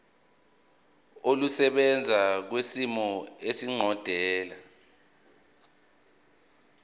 olusebenza kwisimo esiqondena